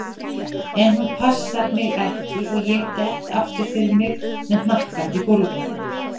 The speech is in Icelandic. En hún passar mig ekki og ég dett aftur fyrir mig með hnakkann í gólfið.